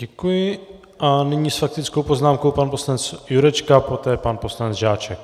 Děkuji a nyní s faktickou poznámkou pan poslanec Jurečka, poté pan poslanec Žáček.